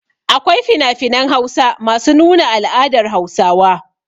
Akwai finafinan Hausa masu nuna al'adar Hausawa.